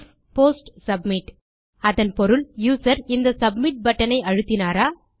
if post submit அதன் பொருள் user இந்த சப்மிட் பட்டன் ஐ அழுத்தினாரா